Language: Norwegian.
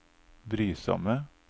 brysomme